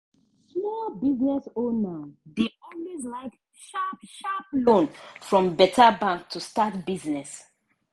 small business owner dey always like sharp-sharp loan from beta bank to start business.